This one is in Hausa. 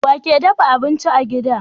Wake dafa abinci a gida